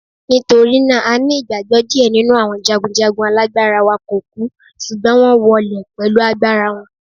Nítorí náà, a ní ìgbàgbọ́ díẹ̀ nínú àwọn jagunjagun alágbára wa kò kú, ṣùgbọ́n wón wọ wọlẹ̀ pẹ̀lú agbára wọn.